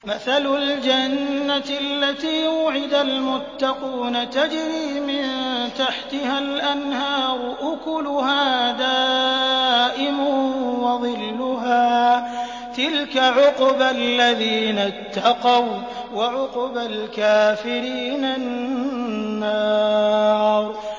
۞ مَّثَلُ الْجَنَّةِ الَّتِي وُعِدَ الْمُتَّقُونَ ۖ تَجْرِي مِن تَحْتِهَا الْأَنْهَارُ ۖ أُكُلُهَا دَائِمٌ وَظِلُّهَا ۚ تِلْكَ عُقْبَى الَّذِينَ اتَّقَوا ۖ وَّعُقْبَى الْكَافِرِينَ النَّارُ